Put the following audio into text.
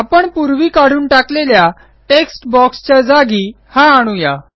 आपण पूर्वी काढून टाकलेल्या टेक्स्ट बॉक्स च्या जागी हा आणू या